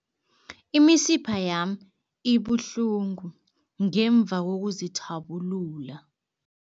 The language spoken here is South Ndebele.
Imisipha yami ibuhlungu ngemva kokuzithabulula.